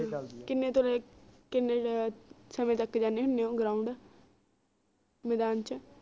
ਕਿੰਨੇ ਤੋਂ ਲੈ ਕਿੰਨੇ ਸਮੇ ਤਕ ਜਾਂਦੇ ਹੁੰਦੇ ਓ ground ਮੈਦਾਨ ਚ